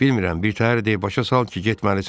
Bilmirəm, bir təhər de, başa sal ki, getməlisən.